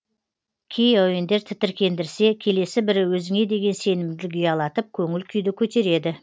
кей әуендер тітіркендірсе келесі бірі өзіңе деген сенімділік ұялатып көңіл күйді көтереді